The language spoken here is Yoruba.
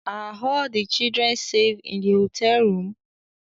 Are all the children safe in the hotel room?